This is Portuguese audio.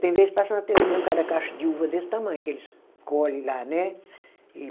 Tem vezes que passa na televisão cada cacho de uva desse tamanho, que eles colhem lá, né? E